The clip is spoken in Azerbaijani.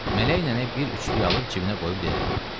Mələk nənə bir üçlük alıb cibinə qoyub dedi.